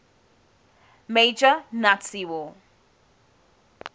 major nazi war